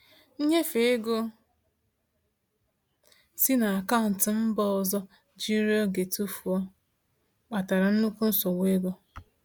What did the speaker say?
Nnyefe ego si na akaụntụ mba ọzọ jiri oge tụfuo, kpatara nnukwu nsogbu ego.